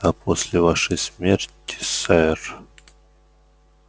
а после вашей смерти сэр